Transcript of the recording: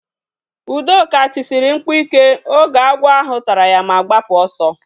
Udoka tisiri mkpu ike oge agwọ ahụ tara ya ma gbapụ ọsọ